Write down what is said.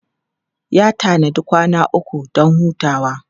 Ya tanadi kwana uku don hutawa.